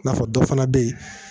Nafa dɔ fana bɛ ye